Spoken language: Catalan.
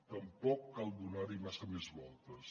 tampoc cal donar hi massa més voltes